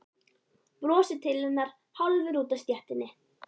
Brosir til hennar hálfur úti á stéttinni.